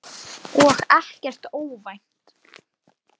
Já, sisona!